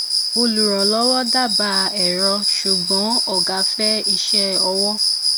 olùrànlówó dábàá èrọ ṣùgbọn ògá fẹ iṣẹ ọwọ